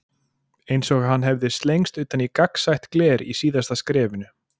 Eins og hann hefði slengst utan í gagnsætt gler í síðasta skrefinu.